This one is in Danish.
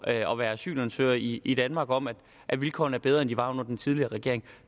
at være asylansøgere i i danmark om at at vilkårene er bedre end de var under den tidligere regering